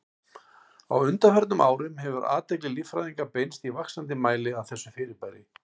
Á undanförnum árum hefur athygli líffræðinga beinst í vaxandi mæli að þessu fyrirbæri.